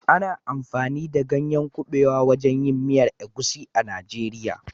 Ana amfani da ganyen kabewa wajen yin miyar egusi a Najeriya